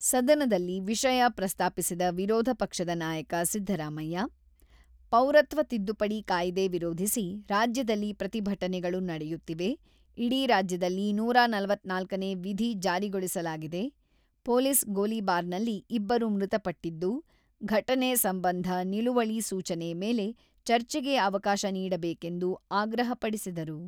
ಸದನದಲ್ಲಿ ವಿಷಯ ಪ್ರಸ್ತಾಪಿಸಿದ ವಿರೋಧ ಪಕ್ಷದ ನಾಯಕ ಸಿದ್ದರಾಮಯ್ಯ, ಪೌರತ್ವ ತಿದ್ದುಪಡಿ ಕಾಯಿದೆ ವಿರೋಧಿಸಿ ರಾಜ್ಯದಲ್ಲಿ ಪ್ರತಿಭಟನೆಗಳು ನಡೆಯುತ್ತಿವೆ, ಇಡೀ ರಾಜ್ಯದಲ್ಲಿ ನೂರ ನಲವತ್ತ್ನಾಲ್ಕ ನೇ ವಿಧಿ ಜಾರಿಗೊಳಿಸಲಾಗಿದೆ, ಪೊಲೀಸ್ ಗೋಲಿಬಾರ್‌ನಲ್ಲಿ ಇಬ್ಬರು ಮೃತಪಟ್ಟಿದ್ದು, ಘಟನೆ ಸಂಬಂಧ ನಿಲುವಳಿ ಸೂಚನೆ ಮೇಲೆ ಚರ್ಚೆಗೆ ಅವಕಾಶ ನಿಡಬೇಕೆಂದು ಆಗ್ರಹಪಡಿಸಿದರು.